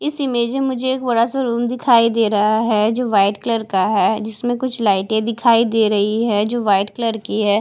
इस इमेज मुझे एक बड़ासा रूम दिखाई दे रहा है जो व्हाइट कलर का है जिसमें कुछ लिए दिखाई दे रही है जो व्हाइट कलर की है।